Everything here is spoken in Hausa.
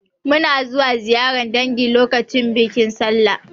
Muna zuwa ziyarar dangi lokacin bikin Sallah.